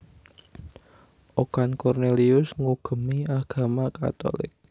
Okan Cornelius ngugemi agama Katolik